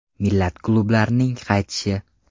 Milan klublarining qaytishi.